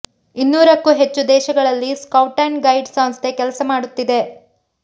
ಇನ್ನೂರಕ್ಕೂ ಹೆಚ್ಚು ದೇಶಗಳಲ್ಲಿ ಸ್ಕೌಟ್ ಅಂಡ್ ಗೈಡ್ ಸಂಸ್ಥೆ ಕೆಲಸ ಮಾಡುತ್ತಿದೆ